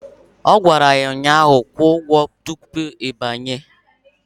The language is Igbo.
Ọ gwara ya ụnyaahụ "Kwụọ ụgwọ tupu ị banye"!